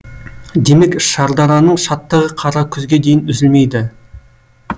демек шардараның шаттығы қара күзге дейін үзілмейді